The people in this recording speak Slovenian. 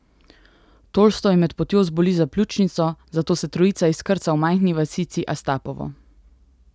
Tolstoj med potjo zboli za pljučnico, zato se trojica izkrca v majhni vasici Astapovo.